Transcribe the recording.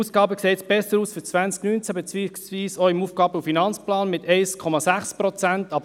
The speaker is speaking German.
Die Ausgaben sehen jetzt für 2019 besser aus beziehungsweise auch im AFP mit 1,6 Prozent.